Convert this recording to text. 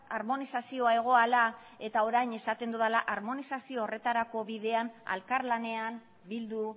harmonizazioa egoala eta orain esaten dudala harmonizazio horretarako bidean elkarlanean bildu